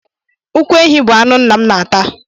Ụkwụ ehi bụ anụ nna m na-ata.